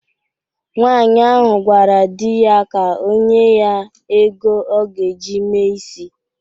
Nwaanyị ahụ gwara di ya ka onye ya ego ọ ga-eji mee isi